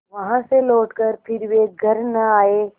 वहाँ से लौटकर फिर वे घर न आये